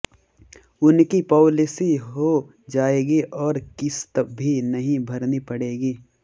उनकी पॉलिसी हो जाएगी और किस्त भी नहीं भरनी पड़ेगी